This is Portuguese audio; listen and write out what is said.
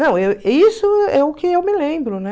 Não, l isso é o que eu me lembro, né?